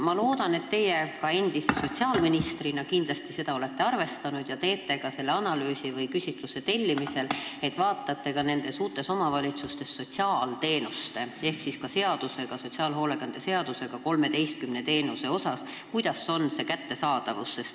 Ma loodan, et teie ka endise sotsiaalministrina olete seda silmas pidanud, et on vaja teha analüüs või tellida küsitlus, kuidas on uutes omavalitsustes lood sotsiaalteenustega, kui hea on sotsiaalhoolekande seaduses nimetatud 13 teenuse kättesaadavus.